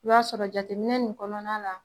I b'a sɔrɔ jateminɛ nin kɔnɔna la